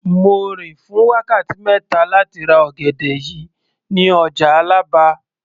Mo rìn fún wákàtí mẹ́ta láti ra ọ̀gẹ̀dẹ̀ yìí ní ọjà Àlàbá